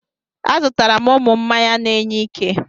Azụtara m ụmụ m mmanya na-enye ike.